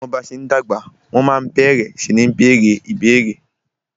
Bí ọmọ bá ṣe ń dàgbà, wọ́n ma ń bẹ̀rẹ sí ní bèèrè ìbéérè.